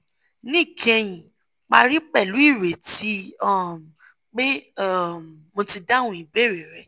níkẹyìn parí pẹ̀lú 'ìrètí um pé um mo ti dáhùn ìbéèrè rẹ